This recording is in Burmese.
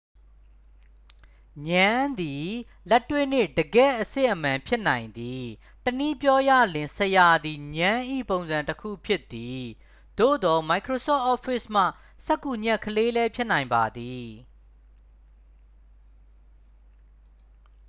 ငြမ်းသည် လက်တွေ့နှင့် တကယ့်အစစ်အမှန် ဖြစ်နိုင်သည် တစ်နည်းပြောရလျှင် ဆရာသည် ငြမ်း၏ပုံစံတစ်ခုဖြစ်သည် သို့သော် microsoft office မှစက္ကူညှပ်ကလေးလည်း ဖြစ်နိုင်ပါသည်